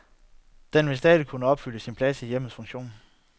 Den vil stadig kunne udfylde sin plads i hjemmets funktion.